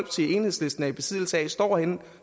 enhedslisten er i besiddelse af står henne